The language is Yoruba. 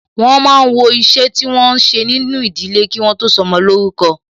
Wọn máa ń wọ iṣẹ́ tí wọn ń ṣe nínú ìdílé, kí wọ́n tó sọmọ lórúkọ